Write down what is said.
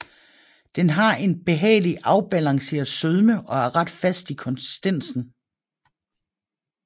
Den har en behagelig afbalanceret sødme og er ret fast i konsistensen